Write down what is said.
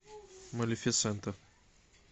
малифисента